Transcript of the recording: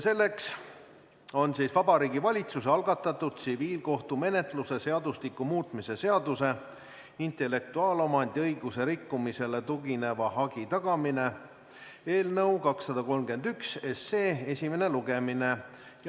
Selleks on Vabariigi Valitsuse algatatud tsiviilkohtumenetluse seadustiku muutmise seaduse eelnõu 231 esimene lugemine.